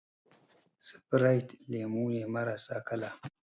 Sifrite lemu ne marasa kala